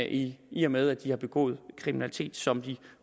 i i og med at de har begået kriminalitet som de